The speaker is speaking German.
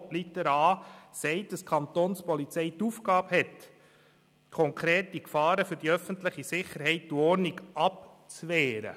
Buchstabe a sagt, dass die Kapo die Aufgabe hat, konkrete Gefahren für die öffentliche Sicherheit und Ordnung abzuwehren.